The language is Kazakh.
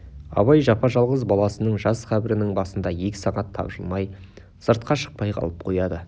абай жапа-жалғыз баласының жас қабірінің басында екі сағат тапжылмай сыртқа шықпай қалып қояды